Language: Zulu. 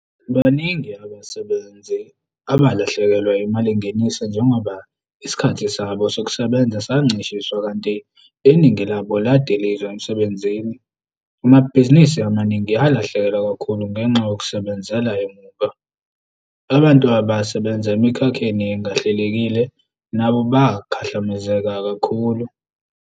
Baningi abasebenzi aba lahlekelwe imalingeniso njengoba isikhathi sabo sokusebenza sancishiswa kanti iningi labo ladilizwa emsebenzini. Amabhizinisi amaningi alahlekelwa kakhulu ngenxa yokusebenzela emuva. Abantu abasebenza emikhakheni engahlelekile nabo bakhahlamezeka kakhulu.